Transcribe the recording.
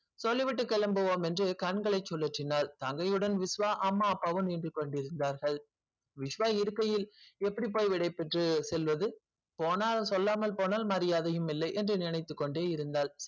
சொல்லி விட்டு கிளம்புவோம் என்று கண்களை சொல்லிச்சினல் தங்கை விஸ்வ உடன் அம்மா அப்பா வும் நின்று கொண்டு இருந்தாங்கள் விஸ்வ இருக்கையில் எப்படிப்பா விடை பெற்று செல்வது போனால் சொல்லாமல் போனால் மரியாதையை இல்லை என்று நினைத்து கொண்டு இருந்தால்